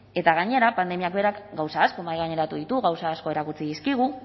eta gainera pandemiak berak gauza asko mahaigaineratu ditu gauza asko erakutsi dizkigu